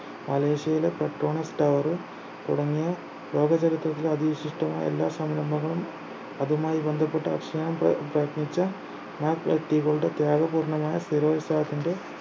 മലേഷ്യയിലെ Petronas tower തുടങ്ങിയ ലോക ചരിത്രത്തിലെ അതി വിശിഷ്ടമായ എല്ലാ സംരംഭങ്ങളും അതുമായി ബന്ധപ്പെട്ട വർഷങ്ങൾ പ്രയത്നിച്ച മഹത് വ്യക്തികളുടെ ത്യാഗപൂർണ്ണമായ സ്ഥിരോൽസാഹത്തിന്റെ